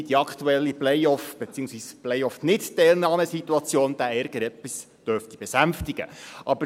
Wobei die aktuelle Playoff- beziehungsweise Playoff-Nichtteilnahmesituation diesen Ärger etwas besänftigen dürfte.